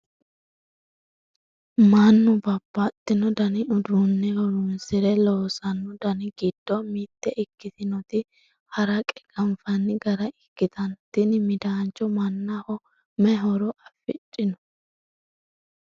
mannu babbaxino dani uduunne horonsire loosanno dani giddo mite ikkitinoti haraqe ganfanni gara ikkitnna tini midaancho mannaho mayi horo afidhinote?